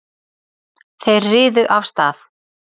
Þeir riðu af stað.